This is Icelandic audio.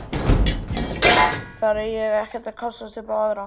Þar er ég ekkert að kássast upp á aðra.